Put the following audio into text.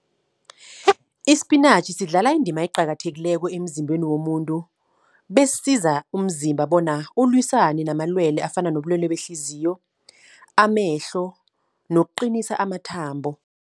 Isipinatjhi sidlala indima eqakathekileko emzimbeni womuntu. Besiza umzimba bona ulwisane namalwele, afana nobulwele behliziyo, amehlo, nokuqinisa amathambo.